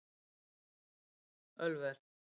Ölver